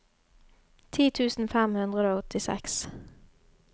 ti tusen fem hundre og åttiseks